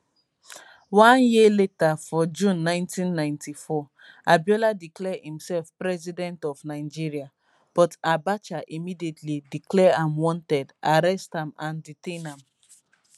one year later for june 1994 abiola declare imsef president of nigeria but abacha immediately declare am wanted arrest am and detain am